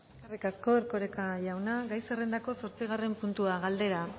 eskerrik asko erkoreka jauna gai zerrendako zortzigarren puntua galdera